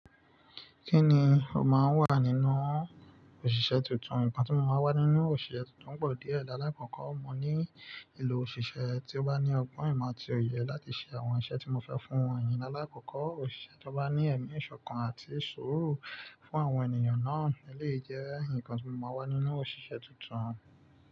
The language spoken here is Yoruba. Kí ni ó máa wà nínú òṣìṣẹ́ tuntun? Ǹkan tí mo máa n wá nínú òṣìṣẹ́ tuntun pọ̀ díẹ̀. Alakọkọ, mo ní ìlọ òṣìṣẹ́ tí ó bá ní ọgbọ́n ìmọ̀ àti òye láti ṣe àwọn iṣẹ́ tí mo fẹ́ fún wọn. Ìyẹn ni alakọkọ, òṣìṣẹ́ tó bá ní ẹ̀mí ìṣọ̀kan àti sùúrù fún àwọn ènìyàn náà lè jẹ́ ǹkan tí mo máa wá nínú òṣìṣẹ́ tuntun.